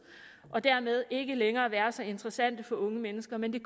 og dermed ville ikke længere være så interessant for unge mennesker men det